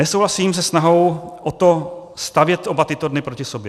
Nesouhlasím se snahou o to stavět oba tyto dny proti sobě.